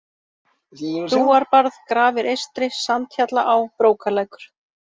Brúarbarð, Grafir-Eystri, Sandhjallaá, Brókarlækur